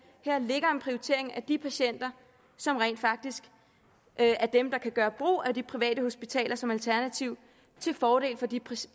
her ligger en prioritering af de patienter som rent faktisk er dem der kan gøre brug af de private hospitaler som alternativ til fordel for de